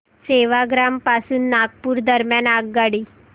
सेवाग्राम पासून नागपूर दरम्यान आगगाडी